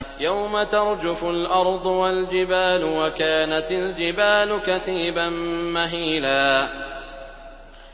يَوْمَ تَرْجُفُ الْأَرْضُ وَالْجِبَالُ وَكَانَتِ الْجِبَالُ كَثِيبًا مَّهِيلًا